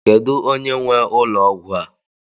Kedu onye nwe ụlọ ọgwụ a?